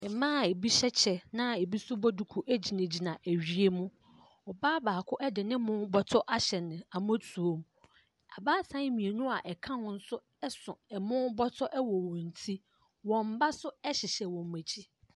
Mmaa a ebi hyɛ kyɛ na ebi nso bɔ duku gyinagyina awia mu. Ɔbaa baako de ne bɔtɔ ahyɛ ne mmɔtoam. Abaatan mmienu a wɔka ho nso so ɛmo bɔtɔ wɔ wɔn ti. Wɔn ba nso hyɛhyɛ wɔn akyi.